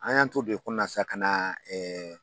An y'an t'o de kɔnɔna sisan ka na